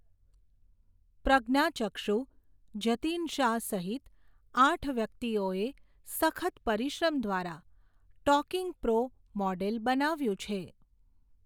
પ્રજ્ઞાચક્ષુ, જતીન શાહ, સહિત, આઠ વ્યક્તિઓએ, સખત પરિશ્રમ દ્વારા, ટોકિંગ પ્રો, મોડેલ, બનાવ્યું છે.